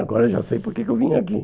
Agora eu já sei por que que eu vim aqui.